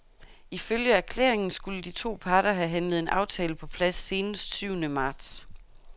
Ifølge erklæringen skulle de to parter have handlet en aftale på plads senest syvende marts.